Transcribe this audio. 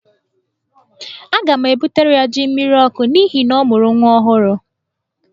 Aga m ebutere ya jí mmiriọkụ n'ihi na ọ mụrụ nwa ọhụrụ.